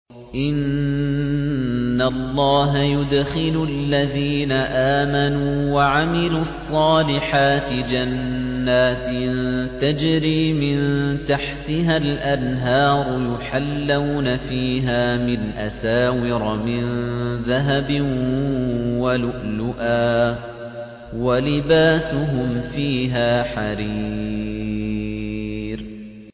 إِنَّ اللَّهَ يُدْخِلُ الَّذِينَ آمَنُوا وَعَمِلُوا الصَّالِحَاتِ جَنَّاتٍ تَجْرِي مِن تَحْتِهَا الْأَنْهَارُ يُحَلَّوْنَ فِيهَا مِنْ أَسَاوِرَ مِن ذَهَبٍ وَلُؤْلُؤًا ۖ وَلِبَاسُهُمْ فِيهَا حَرِيرٌ